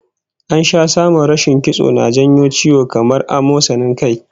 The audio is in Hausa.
An sha samun rashin kitso na jawo ciwo kamar amosanin kai